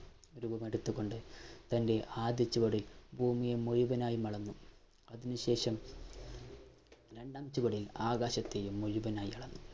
രൂപമെടുത്തുകൊണ്ട് തൻ്റെ ആദ്യ ചുവടിൽ ഭൂമിയെ മുഴുവനായും അളന്നു അതിനുശേഷം രണ്ടാം ചുവടിൽ ആകാശത്തെയും മുഴുവനായി അളന്നു